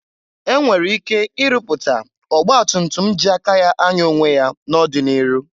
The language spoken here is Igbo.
E nwere ike ị rụpụta ọgbatumtum ji aka ya anya onwe ya n'ọdị n'iru.